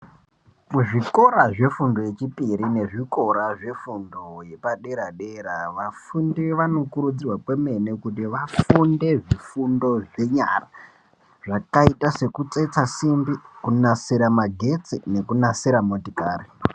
Muzvikora zvefundo yechipiri nezvikora zvefundo yepadera dera vafundi vanokurudzirwa kwemene kuti vafunde zvifundo zvenyara zvakaita sekunasira simbi kunasira magetsi nekunasira motokari.